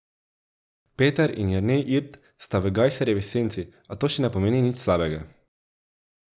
Peter in Jernej Irt sta v Gajserjevi senci, a to ne pomeni nič slabega.